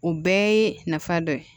O bɛɛ ye nafa dɔ ye